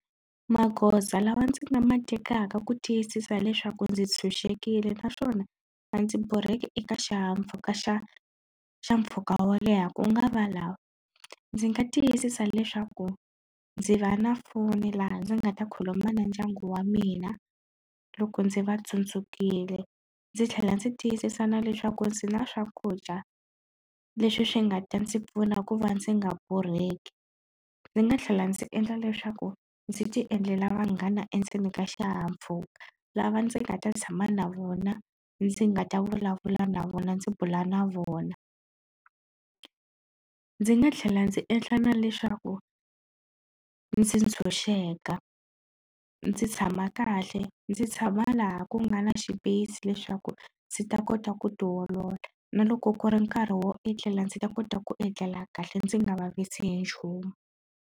Magoza lawa ndzi nga ma tekaka ku tiyisisa leswaku ndzi tshunxekile naswona a ndzi borheki eka xihahampfhuka xa xa mpfhuka wo leha ku nga va lawa ndzi nga tiyisisa leswaku ndzi va na foni laha ndzi nga ta khuluma na ndyangu wa mina loko ndzi va tsundzukile ndzi tlhela ndzi tiyisisa na leswaku ndzi na swakudya leswi swi nga ta ndzi pfuna ku va ndzi nga borheki ndzi nga tlhela ndzi endla leswaku ndzi ti endlela vanghana endzeni ka xihahampfhuka lava ndzi nga ta tshama na vona ndzi nga ta vulavula na vona ndzi bula na vona ndzi nga tlhela ndzi endla na leswaku ndzi tshunxeka ndzi tshama tshama kahle ndzi tshama laha ku nga na xipeyisi leswaku ndzi ta kota ku ti olola na loko ku ri nkarhi wo etlela ndzi ta kota ku etlela kahle ndzi nga vavisi hi nchumu.